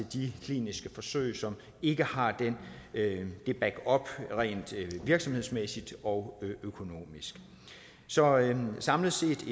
de kliniske forsøg som ikke har den backup rent virksomhedsmæssigt og økonomisk så samlet set